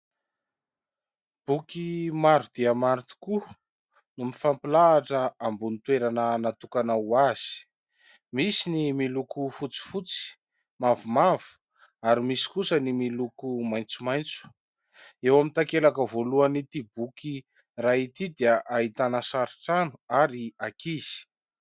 Boky maro dia maro tokoa no mifampilahatra ambony toerana natokana ho azy, misy ny miloko fotsifotsy, mavomavo ary misy kosa ny miloko maitsomaitso, eo amin'ny takelaka voalohany ity boky iray ity dia ahitana sari-trano ary akinzy.